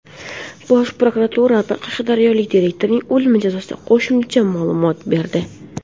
Bosh prokuratura qashqadaryolik direktorning o‘limi yuzasidan qo‘shimcha ma’lumot berdi.